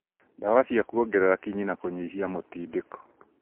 ndawa cia kuongerera kinyi na kũnyihia mũtindĩko